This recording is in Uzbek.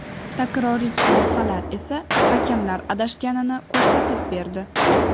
Takroriy lavhalar esa hakamlar adashganini ko‘rsatib berdi.